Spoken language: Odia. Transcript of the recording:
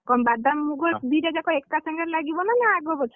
କ’ଣ ବାଦାମ ମୁଗ ଦିଟା ଯାକ ଏକା ସାଙ୍ଗରେ ଲାଗିବ ନା ନା, ନା ଆଗ ପଛ ହେଇକି?